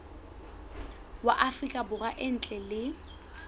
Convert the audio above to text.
wa afrika borwa ntle le